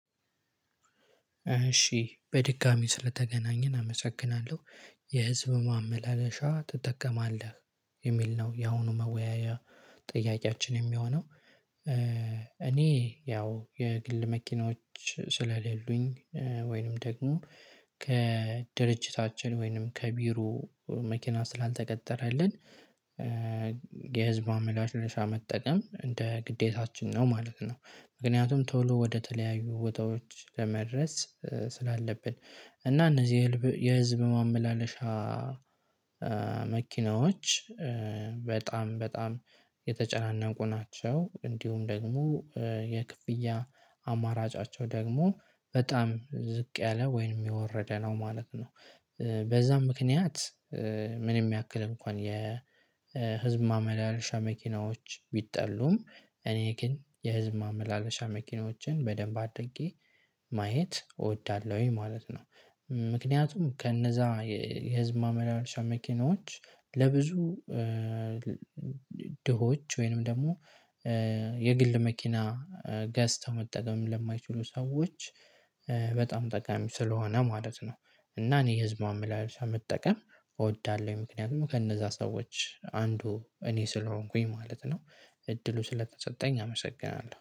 እሺ በድጋሚ ስለተገናኘን አመሰግናለሁ የህዝብ ማመላለሻ ትጠቀማለህ? የሚል ነው የአሁኑ መወያያ ጥያቄያችን የሚሆነው እኔ ያው የግል መኪናዎች ስለሌሉኝ ወይንም ደግሞ ከድርጅታችን ወይንም ከቢሮ መኪና ስላልተቀጠረልን የህዝብ ማመላለሻ መጠቀም እንደ ግዴታችን ነው ማለት ነው ምክንያቱም ቶሎ ወደተለያዩ ወጣቶች ለመድረስ ስላለብን እና እነዚህ የህዝብ ማመላለሻ መኪናዎች በጣም በጣም የተጨናነቁ ናቸው እንዲሁም ደግሞ የክፍያ አማራጫቸው ደግሞ በጣም ዝቅ ያለ ወይንም የወረደ ነው ማለት ነው በዛም ምክንያት ምንም ያክል እንኳን የህዝብ ማመላለሻ መኪናዎች ቢጠሉም እኔ ግን የህዝብ ማመላለሻ መኪናዎችን በደንብ አድርጌ ማየት እወዳለሁኝ ማለት ነው ምክንያቱም ከነዛ የህዝብ ማመላለሻ መኪኖች ለብዙ ድሆች ወይንም ደግሞ የግል መኪና ገዝተው መጠቀም ለማይችሉ ሰዎች በጣም ጠቃሚ ስለሆነ ማለት ነው እና እኔ ህዝቧ መላልሻ መጠቀም እወዳለሁ ምክንያቱም ከነዛ ሰዎች አንዱ እኔ ስለሆንኩኝ ማለት ነው እድሉ ስለተሰጠኝ አመሰግናለሁ